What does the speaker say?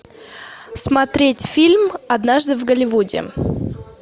смотреть фильм однажды в голливуде